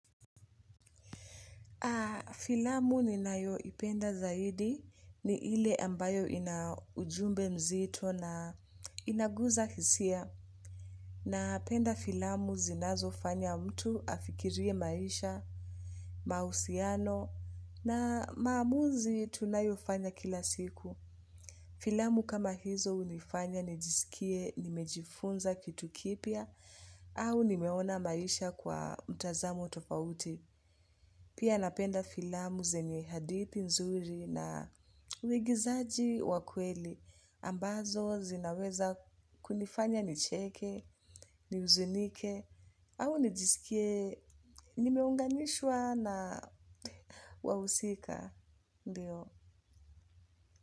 Filamu ninayoipenda zaidi, ni ile ambayo ina ujumbe nzito na inaguza hisia. Napenda filamu zinazofanya mtu afikirie maisha, mahusiano na maamuzi tunayofanya kila siku. Filamu kama hizo hunifanya nijisikie nimejifunza kitu kipya, au nimeona maisha kwa mtazamo tofauti. Pia napenda filamu zenye hadithi nzuri na uigizaji wa kweli. Ambazo zinaweza kunifanya nicheke, nihuzunike au nijisikie nimeunganishwa na wahusika.